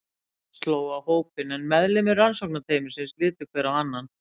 Þögn sló á hópinn en meðlimir rannsóknarteymisins litu hver á annan.